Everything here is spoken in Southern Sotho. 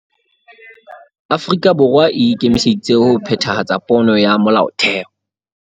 Afrika Borwa e ikemiseditse ho phethahatsa pono ya Molaotheo